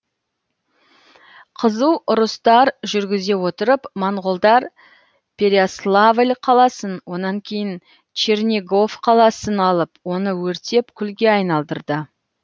қызу ұрыстар жүргізе отырып монғолдар перяславль қаласын онан кейін чернигов қаласын алып оны өртеп күлге айналдырды